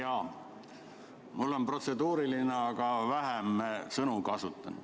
Jaa, mul on protseduuriline küsimus, aga kasutan vähem sõnu.